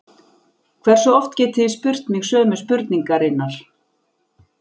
Hversu oft getið þið spurt mig sömu spurningarinnar?